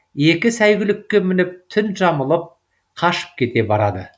екі сәйгүлікке мініп түн жамылып қашып кете барады